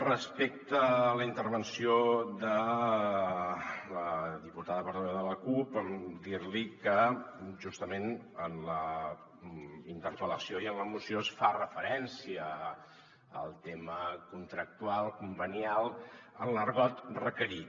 respecte a la intervenció de la diputada portaveu de la cup dir li que justament en la interpel·lació i en la moció es fa referència al tema contractual convenial en l’argot requerit